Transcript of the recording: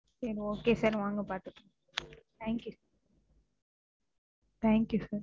சரி Okay sir வாங்க பாத்துக்கலாம். Thank you Thank you sir,